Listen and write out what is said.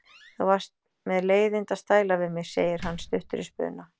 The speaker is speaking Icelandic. Þú varst með leiðinda stæla við mig, segir hann stuttur í spuna.